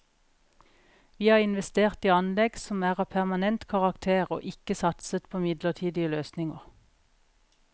Vi har investert i anlegg som er av permanent karakter og ikke satset på midlertidige løsninger.